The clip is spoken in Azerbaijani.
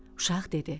Uşaq dedi: